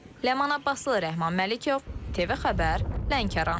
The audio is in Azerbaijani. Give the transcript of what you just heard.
Ləman Abbaslı, Rəhman Məlikov, TV Xəbər, Lənkəran.